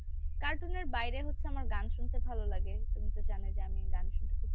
cartoon এর বাইরে হচ্ছে আমার গান শুনতে ভালো লাগে । তুমি তো জানোই যে আমি গান শুনতে খুব পছন্দ করি।